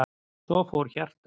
Svo fór hjartað.